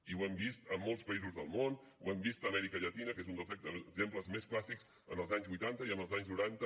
i ho hem vist a molts països del món ho hem vist a l’amèrica llatina que és un dels exemples més clàssics en els anys vuitanta i en els anys noranta